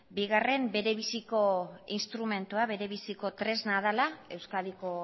bigarren berebiziko instrumentua berebiziko tresna dela euskadiko